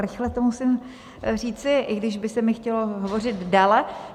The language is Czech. Rychle to musím říci, i když by se mi chtělo hovořit déle.